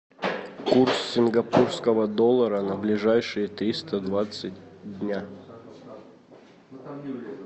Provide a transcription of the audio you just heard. курс сингапурского доллара на ближайшие триста двадцать дня